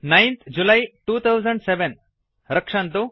9थ July 2007 रक्षन्तु